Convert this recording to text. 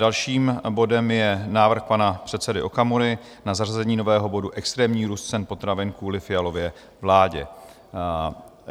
Dalším bodem je návrh pana předsedy Okamury na zařazení nového bodu Extrémní růst cen potravin kvůli Fialově vládě.